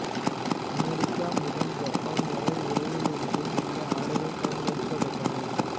America முதல் Japan வரை உலகெங்கிலும் இந்த ஆடைகள் பயன்படுத்தப்பட்டன